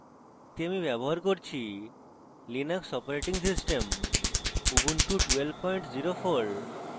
এটি দেখতে আমি ব্যবহার করছি linux operating system ubuntu 1204